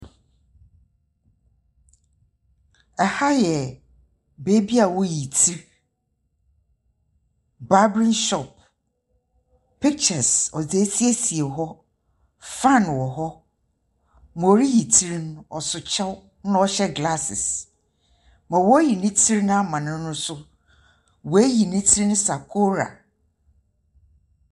Ha yɛ beebi woyi tsir, barbering shop. Pictures wɔdze siesie hɔ. Dza oriyi tsir no, ɔso kyɛw na ɔhyɛ glasses. Dza woriyi ne tsir ama no no so oeyi ne tsir sakoora.